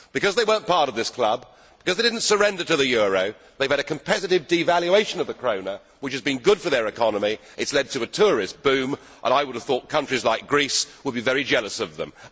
Because they were not part of this club, because they did not surrender to the euro, they have had a competitive devaluation of the krona, which has been good for their economy. It has led to a tourist boom and I would have thought countries like Greece would be very jealous of them.